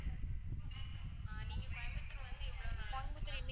அஹ் நீங்க கோயம்புத்தூர் வந்து எவ்ளோ நாள் ஆகுது ma'am